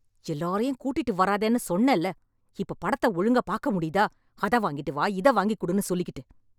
எல்லாரையும் கூட்டிட்டு வராதேன்னு சொன்னேல... இப்ப படத்த ஒழுங்காப் பாக்க முடியுதா... அத வாங்கிட்டு வா இத வாங்கிக்குடுன்னு சொல்லிக்கிட்டு....